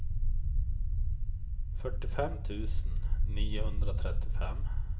fyrtiofem tusen niohundratrettiofem